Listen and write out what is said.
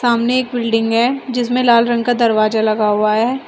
सामने एक बिल्डिंग है जिसमें लाल रंग का दरवाजा लगा हुआ है।